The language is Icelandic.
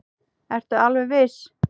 Ertu alveg viss?